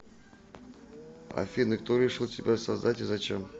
афина кто решил тебя создать и зачем